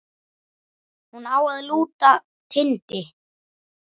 Hún á að lúta Tindi.